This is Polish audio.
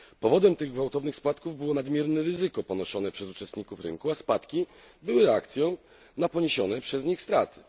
Powodem tych gwałtownych spadków było nadmierne ryzyko ponoszone przez uczestników rynku, a spadki były reakcją na poniesione przez nich straty.